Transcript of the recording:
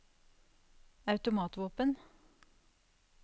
automatvåpen